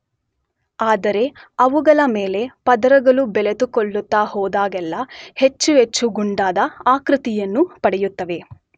ಆದರೆ ಅವುಗಳ ಮೇಲೆ ಪದರಗಳು ಬೆಳೆದುಕೊಳ್ಳುತ್ತ ಹೋದಹಾಗೆಲ್ಲ ಹೆಚ್ಚು ಹೆಚ್ಚು ಗುಂಡಾದ ಆಕೃತಿಯನ್ನು ಪಡೆಯುತ್ತವೆ.